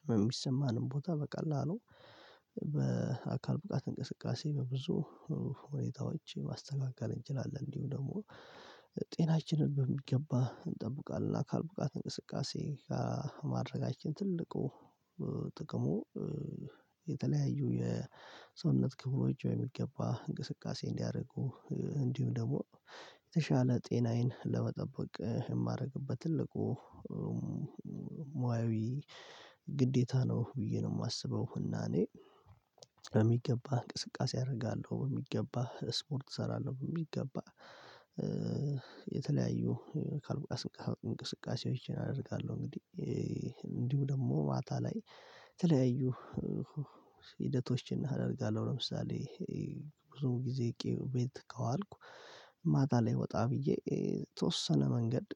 ህመም ሚሰማንን ቦታ በቀላሉ በአካል ብቃት እንቅስቃሴ በብዙ ሁኔታዎች ማስተካከል እንችላለን። እንዲሁ ደግሞ ጤናችንን በሚገባ እንጠብቃለን። አካል ብቃት እንቅስቃሴ ማድረጋችን ትልቁ ጥቅሙ የተለያዩ የሰውነት ክብሎች ወይም በሚገባ እንቅስቃሴ እንዲያደርጉ እንዲሁም ደግሞ የተሻለ ጤናዬን ለመጠበቅ የማደርግበት ትልቁ ሙያዊ ግዴታ ነው ብዬ ነው የማስበው። እና እኔ እንቅስቃሴ አደርጋለሁ በሚገባ ስፖርት እሰራለሁ በሚገባ የተለያዩ አካልብቃት እንቅስቃሴዎችን አደርጋለሁ። እንግዲህ እንዲሁ ደግሞ ማታ ላይ የተለያዩ ሂደቶችን አደርጋለሁ ለምሳሌ ብዙ ጊዜ ቤት ከዋልኩ ማታ ላይ ወጣ ብዬ የተወሰነ መንገድ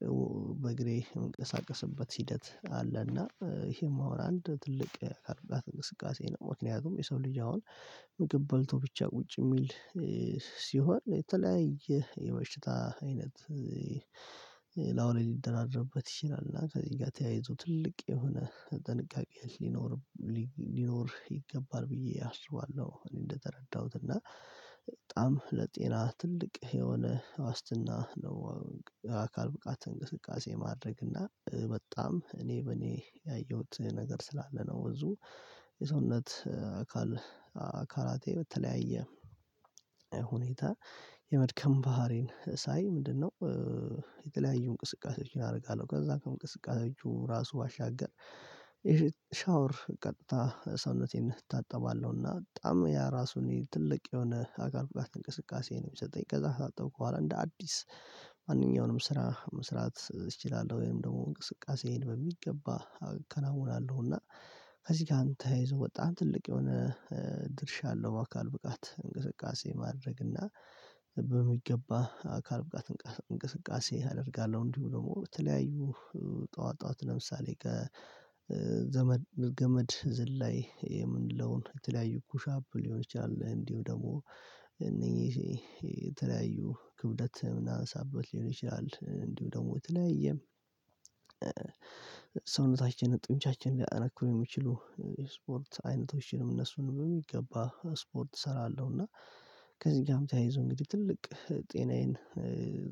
በእግሬ የምንቀሳቀስበት ሂደት አለና ይሄም አሁን አንድ ትልቅ አካልብቃት እንቅስቃሴ ነው። ምክንያቱም የሰው ልጅ አሁን ምግብ በልቶ ብቻ ቁጭ የሚል ሲሆን የተለያየ የበሽታ አይነት እላዩላይ ሊደራረብበት ይችላል እና ከዚህ ጋር ተያይዞ ትልቅ የሆነ ጥንቃቄ ሊኖርም ሊኖር ይገባል ብዬ አስባለሁ። እኔ እንደተረዳሁት እና በጣም ለጤና ትልቅ የሆነ ዋስትና ነው። አካል ብቃት እንቅስቃሴ ማድረግ እና በጣም እኔ በእኔ ያየሁት ነገር ስላለ ነው ብዙ የሰውነት አካል አካላቴ በተለያየ ሁኔታ የመድከም ባህሪን ሳይ ምንድነው? የተለያዩ እንቅስቃሴዎችን አደርጋለሁ ከዛ ከእንቅስቃሴዎቹ ራሱ ባሻገር ሻወር ቀጥታ ሰውነቴን እታጠባለሁና በጣም ያ ራሱን ትልቅ የሆነ አካል ብቃት እንቅስቃሴ ነው የሚሰጠኝ። ከዛ ከታጠብኩ በኋላ እንደ አዲስ ማንኛውንም ስራ መስራት እችላለሁ ወይም ደግሞ እንቅስቃሴዬን በሚገባ አከናውናለሁ። እና ከዚህ ጋርም ተያይዞ በጣህ ትልቅ የሆነ ድርሻ አለው። አካል ብቃት እንቅስቃሴ ማድረግ እና በሚገባ አካል ብቃት እንቅስቃሴ አደርጋለሁ እንዲሁ ደግሞ በተለያዩ ጠዋት ጠዋት ለምሳሌ ከዘመድ ገመድ ዝላይ የምንለውን የተለያዩ ኩሻፕ ሊሆን ይችላል እንዲሁ ደግሞ እነኚህ የተለያዩ ክብደት ምናነሳበት ሊሆን ይችላል እንዲሁ ደግሞ የተለያየም ሰውነታችንን ጡንቻችንን ሊያጠነክሩ የሚችሉ የስፖርት አይነቶችንም እነሱን በሚገባ ስፖርት እሰራለሁ። እና ከዚህ ጋርም ተያይዞ እንግዲህ ትልቅ ጤናዬን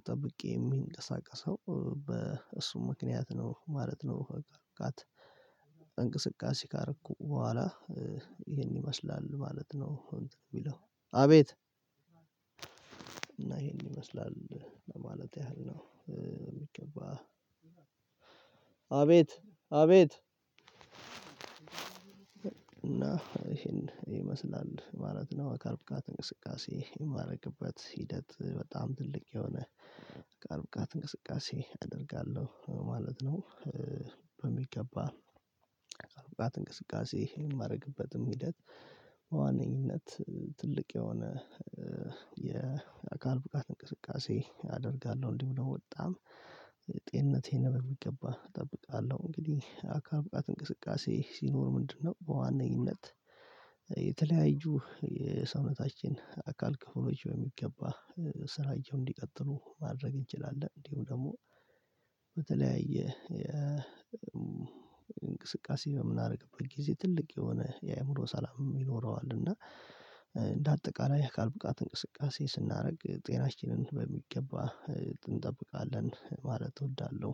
ጠብቄ የሚንቀሳቀሰው በእሱ ምክንያት ነው ማለት ነው። አካልብቃት እንቅስቃሴ ካረኩ በኋላ ይሄን ይመስላል ማለት ነው። ቢለው አቤት ይሄን ይመስላል ለማለት ያህል ነው የሚገባ አቤት አቤት እና ይሄን ይመስላል ማለት ነው። አካል ብቃት እንቅስቃሴ የማደርግበት ሂደት በጣም ትልቅ የሆነ አካል ብቃት እንቅስቃሴ አደርጋለሁ ማለት ነው። በሚገባ አካል ብቃት እንቅስቃሴ የማደርግበትም ሂደት በዋነኝነት ትልቅ የሆነ የአካል ብቃት እንቅስቃሴ አደርጋለሁ እንዲህ ብሎ በጣም ጤንነቴንም በሚገባ እጠብቃለሁ። እንግዲህ አካልብቃት እንቅስቃሴ ሲኖር ምንድነው በዋነኝነት የተለያዩ የሰውነታችን አካል ክፍሎች በሚገባ ስራቸውን እንዲቀጥሉ ማድረግ እንችላለን። እንዲሁ ደግሞ በተለያየ የእንቅስቃሴ በምናደርግበት ጊዜ ትልቅ የሆነ የአእምሮ ሰላም ይኖረዋል። እና እንደ አጠቃላይ አካል ብቃት እንቅስቃሴ ስናደርግ ጤናችንን በሚገባ እንጠብቃለን ማለት እወዳለሁ።